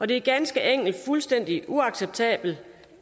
det er ganske enkelt fuldstændig uacceptabelt